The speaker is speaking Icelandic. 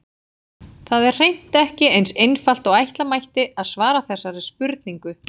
Það er hreint ekki eins einfalt og ætla mætti að svara þessari spurningu.